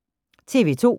TV 2